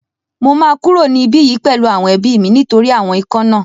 Mo máa kúrò ní ibí yìí pẹ̀lú àwọn ẹbí mi nítorí àwọn ikán náà